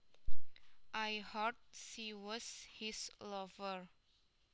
I heard she was his lover